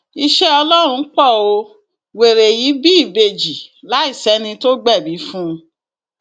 iṣẹ ọlọrun pọ ó wẹrẹ yìí bí ìbejì láì sẹni tó gbẹbí fún un